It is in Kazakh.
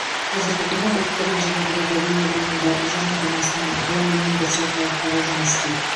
қазіргі күні ұлттық инженерлік академия құрамында жиырмадан астам ғылыми өндіріс орталықтары жұмыс істейді